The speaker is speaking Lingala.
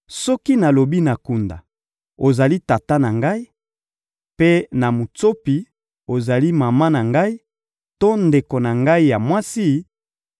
Soki nalobi na kunda: ‹Ozali tata na ngai,› mpe na mutsopi: ‹Ozali mama na ngai to ndeko na ngai ya mwasi,›